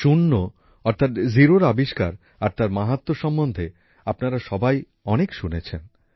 শূণ্য অর্থাৎ জিরোর আবিষ্কার আর তার মাহাত্ম্য সম্বন্ধে আপনারা সবাই অনেক শুনেছেন